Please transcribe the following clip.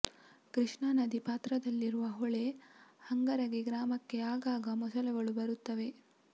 ಕೃಷ್ಣಾ ನದಿ ಪಾತ್ರದಲ್ಲಿರುವ ಹೊಳೆ ಹಂಗರಗಿ ಗ್ರಾಮಕ್ಕೆ ಆಗಾಗ ಮೊಸಳೆಗಳು ಬರುತ್ತವೆ